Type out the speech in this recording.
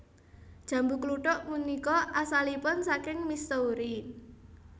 Jambu kluthuk punika asalipun saking Missouri